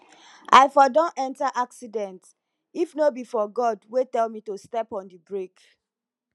i for don enter accident if no be for god wey tell me to step on the brake